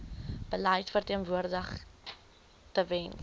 beleid verteenwoordig tewens